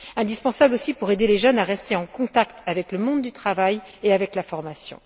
Indispensable aussi pour aider les jeunes à rester en contact avec le monde du travail et la formation.